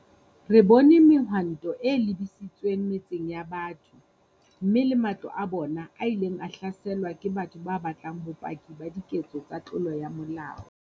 Re bone mehwanto e lebisitsweng metseng ya batho, mme le matlo a bona a ileng a hlaselwa ke batho ba batlang bopaki ba diketso tsa tlolo ya molao.